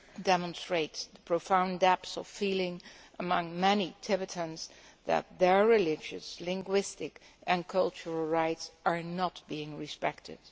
demonstrates the profound depth of feeling among many Tibetans that their religious, linguistic and cultural rights are not being respected.